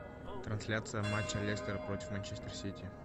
трансляция матча лестера против манчестер сити